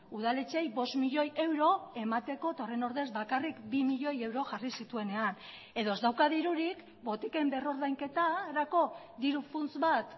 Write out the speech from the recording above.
udaletxeei bost milioi euro emateko eta horren ordez bakarrik bi milioi euro jarri zituenean edo ez dauka dirurik botiken berrordainketarako diru funts bat